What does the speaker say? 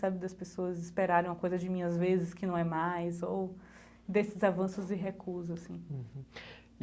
Sabe das pessoas esperarem uma coisa de mim as vezes que não é mais, ou desses avanços e recusas, assim.